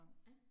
Ja